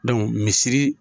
misiri